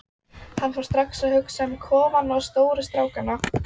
Hann fór strax að hugsa um kofann og stóru strákana.